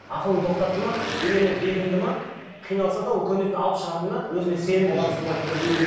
ақылын тоқтатты ма үйленіп бекінді ме қиналса да ол көнетін алып шығатынына өзініне сенімді жігіт солай тәрбиелеу